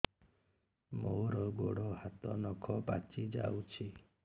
ମୋର ଗୋଡ଼ ହାତ ନଖ ପାଚି ଯାଉଛି